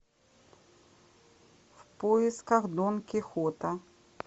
в поисках дон кихота